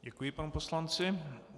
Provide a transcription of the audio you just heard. Děkuji panu poslanci.